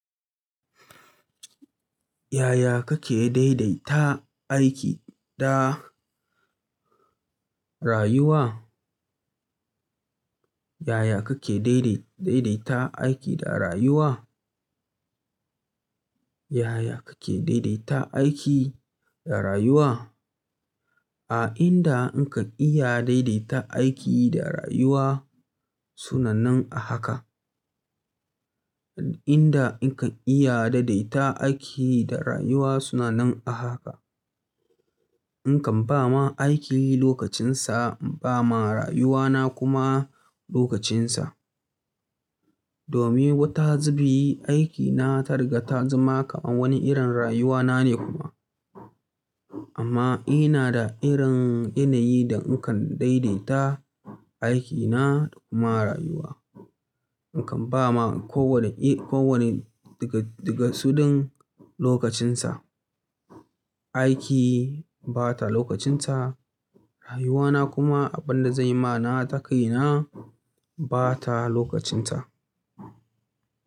Yaya kake daidaita aiki da rayuwa? Yaya kake daidai-daidaita aiki da rayuwa? Yaya kake daidaita aiki da rayuwa? A inda in kan iya daidaita aiki da rayuwa suna nan a haka. Inda in ka iya daidaita aiki da rayuwa suna nan a haka. In kan ba ma aiki lokacinsa, ba ma rayuwana kuma lokacinsa. Domin wata zubi aikina ta riga ta zama kamar wani irin rayuwana ne kuma. Amma ina da irin yanayi da in kan daidaita aikina da kuma rayuwa. Ni kan ba ma ko wane, ko wane daga, daga su ɗin lokacinsa. Aiki ba ta lokacinsa, rayuwana kuma abin da zan yi ma na takaina ba ta lokacinta.